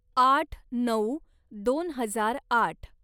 आठ नऊ दोन हजार आठ